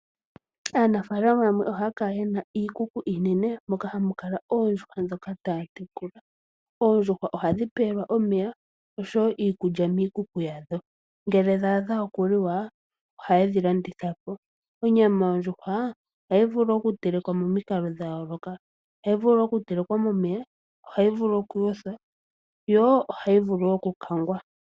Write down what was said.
Aanafaalama yamwe ohaya kala ye na iikuku iinene moka ha mu kala oondjuhwa ndhoka ta ya tekula. Oondjuhwa ohadhi pelwa omeya osho wo iikulya miikuku yadho. Ngele dha adha oku liwa ohaye dhi landithapo. Onyama yondjuhwa ohayi vulu okutelekwa momikalo dha yooloka, ohayi vulu okutelekwa momeya, ohayi vulu okuyothwa yo ohayi vulu okukangwa.